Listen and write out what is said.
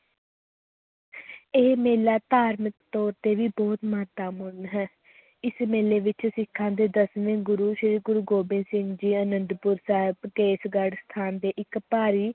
ਇਹ ਮੇਲਾ ਧਾਰਮਕ ਤੌਰ ‘ਤੇ ਵੀ ਬਹੁਤ ਮਹੱਤਵਪੂਰਨ ਹੈ ਇਸ ਮੇਲੇ ਵਿੱਚ ਸਿੱਖਾਂ ਦੇ ਦਸਵੇਂ ਗੁਰੂ ਸ੍ਰੀ ਗੁਰੂ ਗੋਬਿੰਦ ਸਿੰਘ ਜੀ ਅਨੰਦਪੁਰ ਸਾਹਿਬ, ਕੇਸਗੜ੍ਹ ਸਥਾਨ ਤੇ ਇੱਕ ਭਾਰੀ